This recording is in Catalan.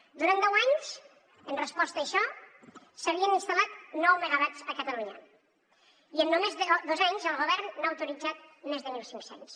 durant deu anys en resposta a això s’havien instal·lat nou megawatts a catalunya i en només dos anys el govern n’ha autoritzat més de mil cinc cents